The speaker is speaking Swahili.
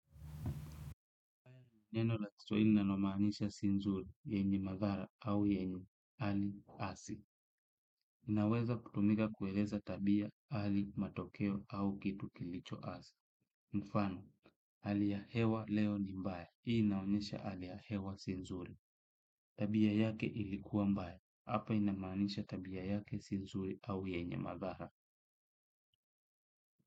Neno ratito nanomanisha sinzuri, yenye madhara au yenye, hali, asi. Inaweza kutumika kueleza tabia, hali, matokeo au kitu kilicho asi. Mfano, hali ya hewa leo nimbaya. Hii inaonyesha hali ya hewa sinzuri. Tabia yake ilikuwa mbae. Hapa inamaanisha tabia yake sinzuri au yenye madhaha.